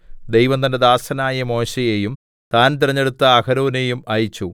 ദൈവം തന്റെ ദാസനായ മോശെയെയും താൻ തിരഞ്ഞെടുത്ത അഹരോനെയും അയച്ചു